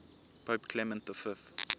pope clement v